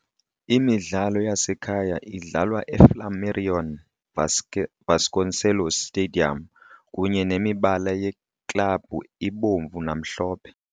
Imidlalo yasekhaya idlalwa eFlamarion Vasconcelos Stadium, kunye nemibala yeklabhu ibomvu namhlophe.